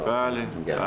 Bəli, bəli.